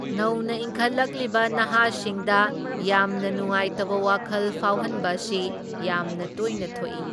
ꯅꯧꯅ ꯏꯪꯈꯠꯂꯛꯂꯤꯕ ꯅꯍꯥꯁꯤꯡꯗ ꯌꯥꯝꯅ ꯅꯨꯡꯉꯥꯏꯇꯕ ꯋꯥꯈꯜ ꯐꯥꯎꯍꯟꯕ ꯑꯁꯤ ꯌꯥꯝꯅ ꯇꯣꯏꯅ ꯊꯣꯛꯢ꯫